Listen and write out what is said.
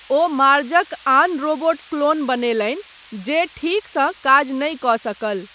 ओ मार्जक आन robot clone बनेलनि जे ठीकसँ काज नहि कऽ सकल।